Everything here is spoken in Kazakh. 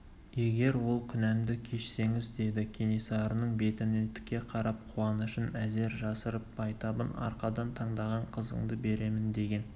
егер ол күнәмді кешсеңіз деді кенесарының бетіне тіке қарап қуанышын әзер жасырып байтабын арқадан таңдаған қызыңды беремін деген